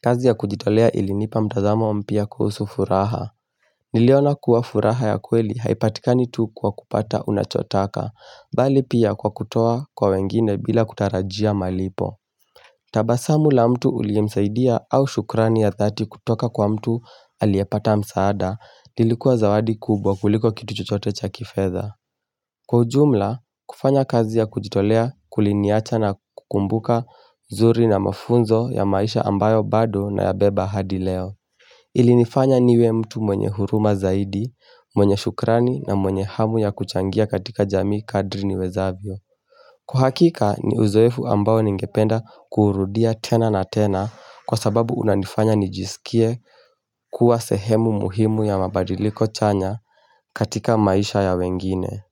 kazi ya kujitolea ilinipa mtazamo mpya kuhusu furaha Niliona kuwa furaha ya kweli haipatikani tu kwa kupata unachotaka bali pia kwa kutoa kwa wengine bila kutarajia malipo. Tabasamu la mtu uliyemsaidia au shukrani ya dhati kutoka kwa mtu aliyepata msaada lilikuwa zawadi kubwa kuliko kitu chuchote cha kifeza. Kwa ujumla, kufanya kazi ya kujitolea kuliniacha na kukumbuka zuri na mafunzo ya maisha ambayo bado na ya beba hadileo. Ilinifanya niwe mtu mwenye huruma zaidi, mwenye shukrani na mwenye hamu ya kuchangia katika jamii kadri ni wezavyo Kwa hakika ni uzoefu ambao ningependa kuurudia tena na tena Kwa sababu unanifanya nijisikie kuwa sehemu muhimu ya mabadiliko chanya katika maisha ya wengine.